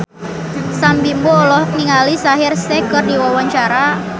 Sam Bimbo olohok ningali Shaheer Sheikh keur diwawancara